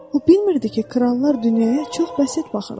O bilmirdi ki, krallar dünyaya çox bəsit baxırlar.